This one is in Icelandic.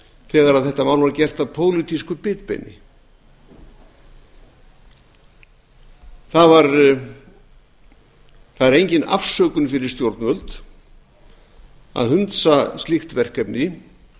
þegar þetta var gert að pólitísku bitbeini það er engin afsökun fyrir stjórnvöld að hunsa slíkt verkefni